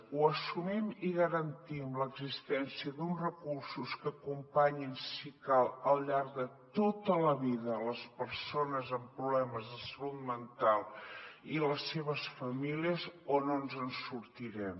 o assumim i garantim l’existència d’uns recursos que acompanyin si cal al llarg de tota la vida les persones amb problemes de salut mental i les seves famílies o no ens en sortirem